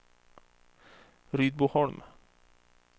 Rydboholm